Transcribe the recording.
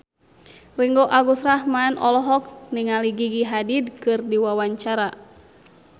Ringgo Agus Rahman olohok ningali Gigi Hadid keur diwawancara